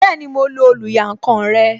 Bẹẹni, mo lo oluyankan rẹ